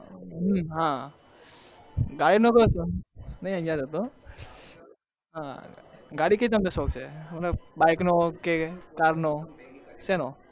હા ગાડી કે બાઈક નો કે car નો શેનો